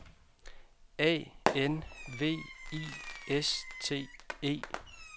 A N V I S T E